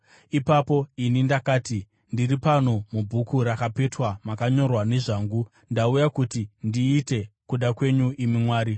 Ipapo ini ndakati, ‘Ndiri pano, mubhuku rakapetwa makanyorwa nezvangu, ndauya kuti ndiite kuda kwenyu, imi Mwari.’ ”